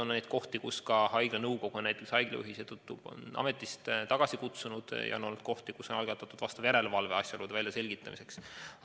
On olnud juhtumeid, kui haigla nõukogu on haigla juhi seetõttu ametist tagasi kutsunud, ja on olnud juhtumeid, kui on algatatud järelevalve asjaolude väljaselgitamiseks.